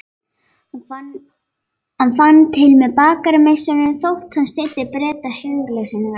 Hann fann til með bakarameistaranum þótt hann styddi Breta heilshugar.